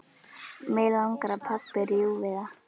Mig langar að pabbi rjúfi það.